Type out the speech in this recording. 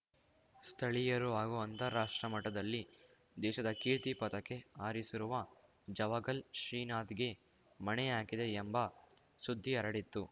ಸ್ಥಳೀಯರು ಹಾಗೂ ಅಂತಾರಾಷ್ಟ್ರ ಮಟ್ಟದಲ್ಲಿ ದೇಶದ ಕೀರ್ತಿ ಪಾತಕೆ ಹಾರಿಸಿರುವ ಜಾವಗಲ್‌ ಶ್ರೀನಾಥ್‌ಗೆ ಮಣೆ ಹಾಕಿದೆ ಎಂಬ ಸುದ್ದಿ ಹರಡಿತ್ತು